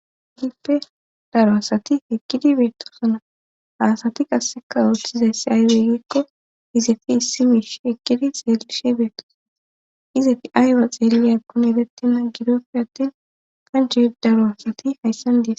Kehiippe daro asati eqkidi beettosona haasati qasseka ooththizayssi aywey giikko izefi issi mish ekkidi xeelishe beettosoo izefi aywa xeeliyakun edettina gidoppe attin qanche daro asati hayssan des